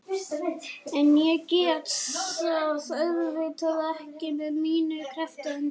En ég get það auðvitað ekki með mínar krepptu hendur.